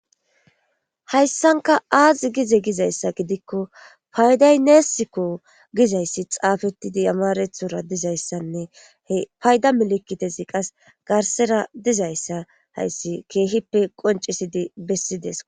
Hayssanka aazi gize gizayssa gidikko paydayneesikko gizayssi xaafettidi amarethora dizayssanne he payda melekitezi qas garsera dizayssa hayssi keehippe qoncisidi bessides.